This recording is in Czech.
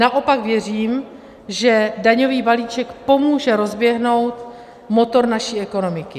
Naopak věřím, že daňový balíček pomůže rozběhnout motor naší ekonomiky.